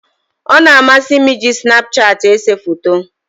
Ọ na-amasị m iji snapchat ese foto.